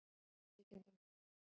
Þetta er með ólíkindum